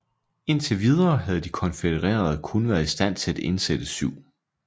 Indtil videre havde de konfødererede kun været i stand til at indsætte 7